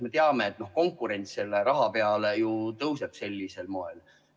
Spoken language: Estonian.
Me teame, et konkurents selle raha peale ju tõuseb sellisel moel.